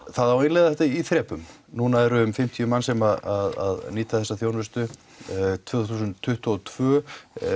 það á að innleiða þetta í þrepum núna eru um fimmtíu manns sem nýta þessa þjónustu tvö þúsund tuttugu og tvö